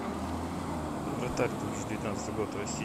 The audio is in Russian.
вратарь две тысячи девятнадцатый год россия